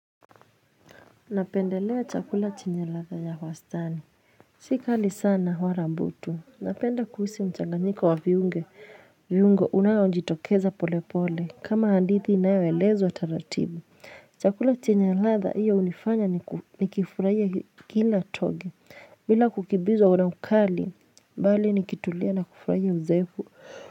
Napendelea chakula chenye ladha ya wastani. Si kali sana wala butu. Napenda kuhisi mchanganyiko wa viungo unayo jiitokeza pole pole. Kama hadithi inayo elezwa taratibu. Chakula chenye ladha hiyo hunifanya ni kifurahia kila toge. Bila kukimbizwa una ukali, bali nikitulia na kifurahia uzefu.